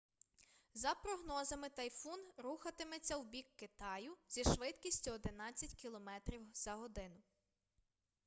за прогнозами тайфун рухатиметься у бік китаю зі швидкістю 11 км/год